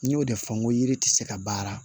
N y'o de fɔ n ko yiri ti se ka baara